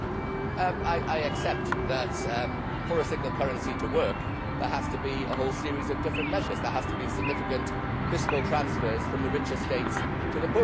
I accept that, for a single currency to work, there has to be a whole series of different measures. There have to be significant fiscal transfers from the richer states to the poorer states.